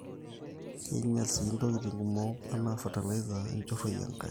keinyal sii ntokitin kumok anaa fertilizer inchoroi enkare